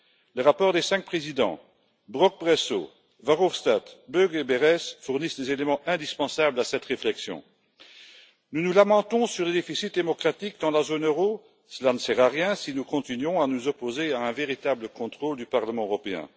Le rapport des cinq présidents Brok, Bresso, Verhofstadt, Böge et Berès fournit des éléments indispensables à cette réflexion. Nous nous lamentons sur le déficit démocratique dans la zone euro, mais cela ne sert à rien si nous continuons à nous opposer à un véritable contrôle du Parlement européen.